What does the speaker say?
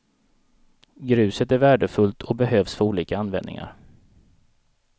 Gruset är värdefullt och behövs för olika användningar.